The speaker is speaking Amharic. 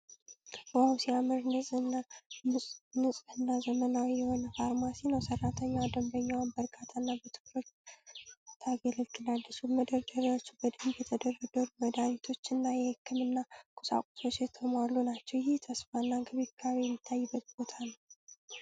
"ዋው! ሲያምር!" ንጹህና ዘመናዊ የሆነ ፋርማሲ ነው። ሰራተኛዋ ደንበኛዋን በእርጋታ እና በትኩረት ታገለግላለች። መደርደሪያዎቹ በደንብ በተደረደሩ መድኃኒቶችና የህክምና ቁሳቁሶች የተሞሉ ናቸው። ይህ ተስፋ እና እንክብካቤ የሚታይበት ቦታ ነው።